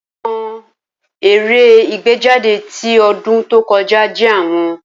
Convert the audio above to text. Awọn eré igbejade ti odun to koja je awon.